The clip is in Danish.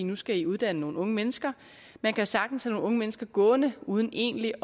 nu skal i uddanne nogle unge mennesker man kan sagtens have nogle unge mennesker gående uden egentlig